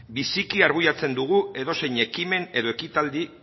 biziki arbuiatzen dugu edozein ekimen edo ekitaldi